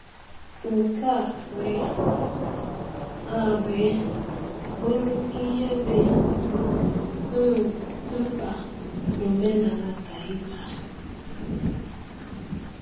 Nke a wee a wee bụrụ ihe dị um mkpa na omenala Tahitian.